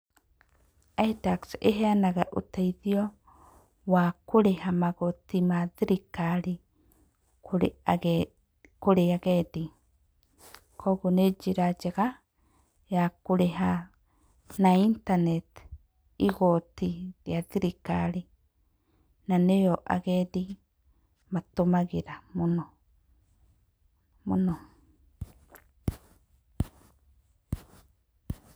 Itax ĩheanaga uteithio wa kũrĩha magoti ma thirikari kũrĩ agendi. Koguo nĩ njĩra njega ya kũrĩha na intaneti igooti rĩa thirikari na nĩyo agendi matũmagĩra mũno mũno.